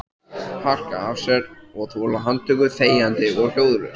Harka af sér og þola handtöku þegjandi og hljóðalaust?